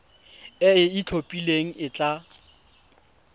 e e itlhophileng e tla